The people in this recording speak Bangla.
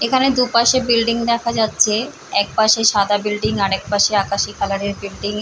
এখানে দুপাশে বিল্ডিং দেখা যাচ্ছে এক পশে সাদা বিল্ডিং আর এক পশে আকাশি কালার এর বিল্ডিং ।